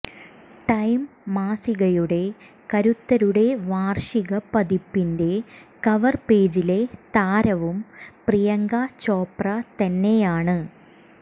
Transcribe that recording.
time മാസികയുടെ കരുത്തരുടെ വാർഷിക പതിപ്പിന്റെ കവർ പേജിലെ താരവും പ്രിയങ്ക ചോപ്ര തന്നെയാണ്